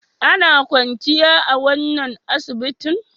Ana kwanciya a wannan asibitin?